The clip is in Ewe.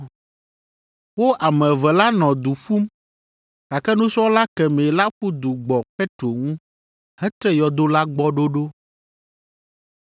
Wo ame eve la nɔ du ƒum, gake nusrɔ̃la kemɛ la ƒu du gbɔ Petro ŋu hetre yɔdo la gbɔ ɖoɖo.